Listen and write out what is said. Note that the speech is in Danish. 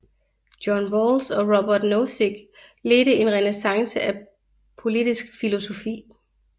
John Rawls og Robert Nozick ledte en renæssance af politisk filosofi